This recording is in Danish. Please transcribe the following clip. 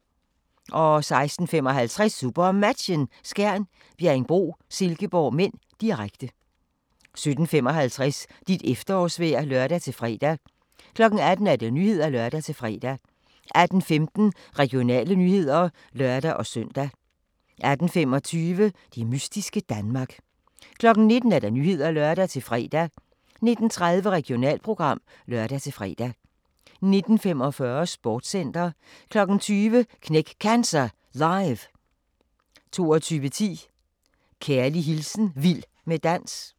16:55: SuperMatchen: Skjern - Bjerringbro-Silkeborg (m), direkte 17:55: Dit efterårsvejr (lør-fre) 18:00: Nyhederne (lør-fre) 18:15: Regionale nyheder (lør-søn) 18:25: Det mystiske Danmark 19:00: Nyhederne (lør-fre) 19:30: Regionalprogram (lør-fre) 19:45: Sportscenter 20:00: Knæk Cancer Live 22:10: Kærlig hilsen Vild med dans